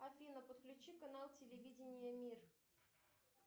афина подключи канал телевидение мир